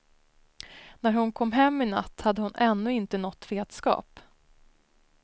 När hon kom hem i natt hade hon ännu inte nått vetskap.